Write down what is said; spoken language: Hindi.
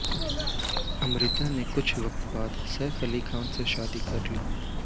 अमृता ने कुछ वक्त बाद सैफ अली खान से शादी कर ली